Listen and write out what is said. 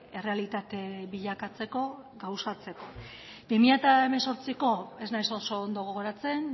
errealitate bilakatzeko eta gauzatzeko bi mila hemezortziko ez naiz oso ondo gogoratzen